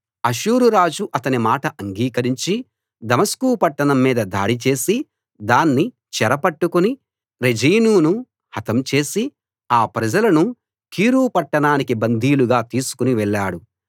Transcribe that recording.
అష్షూరు రాజు అతని మాట అంగీకరించి దమస్కు పట్టణం మీద దాడి చేసి దాన్ని చెర పట్టుకుని రెజీనును హతం చేసి ఆ ప్రజలను కీరు పట్టణానికి బందీలుగా తీసుకుని వెళ్ళాడు